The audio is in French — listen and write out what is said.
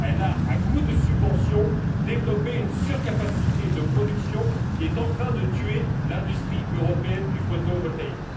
Elle a, à coup de subventions, développé une surcapacité de production qui est en train de tuer l'industrie européenne du photovoltaïque.